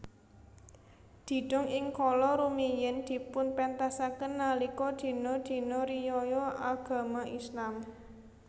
Didong ing kala rumiyin dipunpentasaken nalika dina dina riyaya Agama Islam